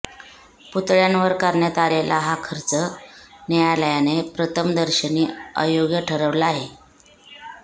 पुतळय़ांवर करण्यात आलेला हा खर्च न्यायालयाने प्रथमदर्शनी अयोग्य ठरवला आहे